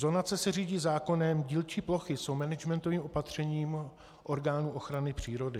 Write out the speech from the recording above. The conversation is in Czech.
Zonace se řídí zákonem, dílčí plochy jsou managementovým opatřením orgánů ochrany přírody.